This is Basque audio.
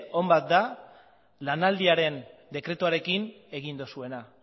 on bat da lanaldiaren dekretuarekin egin duzuena